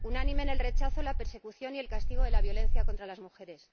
unánime en el rechazo, la persecución y el castigo de la violencia contra las mujeres